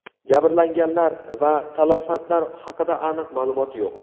Jabrlanganlar va talafotlar haqida aniq ma’lumot yo‘q.